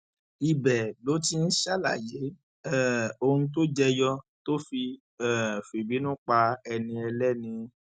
ibẹ ló ti ń ṣàlàyé um ohun tó jẹ yọ tó fi um fìbínú pa ẹni ẹlẹni